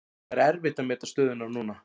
Það er erfitt að meta stöðuna núna.